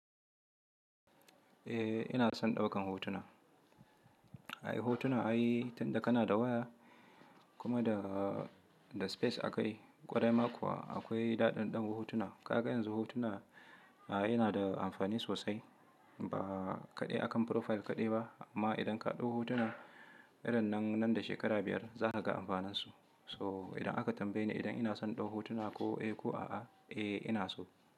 Eh ina son ɗaukan hotuna. Ai hotuna ai tun da kana da waya kuma da, da space a kai kwarai ma kuwa akwai daɗaɗɗen hotuna. Ka ga yanzu hotuna a yana da amfani sosai ba kaɗai akan profile kaɗai ba amma idan ka ɗau hotuna irin nan, nan da shekara biyar za ka ga amfaninsu. To idan aka tambaye ni idan ina son ɗau hotuna ko eh ko a'a, eh ina so.